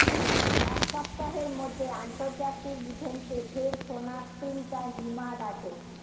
এক সপ্তাহের মধ্যে আন্তর্জাতিক ইভেন্টে ফের সোনা স্প্রিন্টার হিমা দাসের